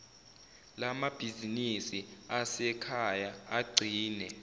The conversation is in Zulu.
lamabhizinisi asekhaya agcine